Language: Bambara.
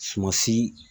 Sumasi